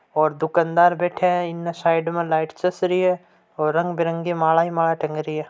और दुकानदार बैठा है इनने साईड में लाईट चस री है और रंग बेरंगी माला ही माला टंग रही है।